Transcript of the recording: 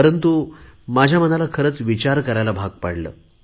परंतु माझ्या मनाला खरेच विचार करायला भाग पाडले